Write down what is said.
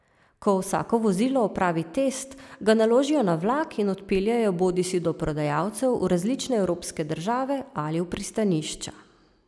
Ko vsako vozilo opravi test, ga naložijo na vlak in odpeljejo bodisi do prodajalcev v različne evropske države ali v pristanišča.